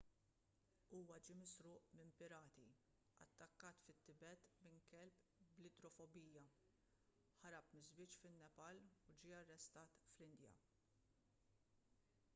huwa ġie misruq minn pirati attakkat fit-tibet minn kelb bl-idrofobija ħarab miż-żwieġ fin-nepal u ġie arrestat l-indja